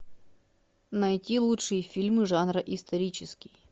найти лучшие фильмы жанра исторический